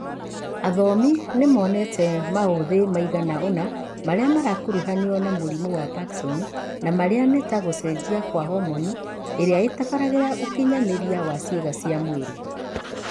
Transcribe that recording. Athomi nĩ monete maũthĩ maigana ona marĩa marakuruhanio na mũrimũ wa Parkinson na marĩa nĩ ta gũcenjia kwa homoni iria itabarĩraga ũkinyanĩria wa ciĩga cia mwĩrĩ